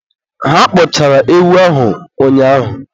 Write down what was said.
Ha kpọchara ewu ahụ ụnyaahụ